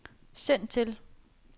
send til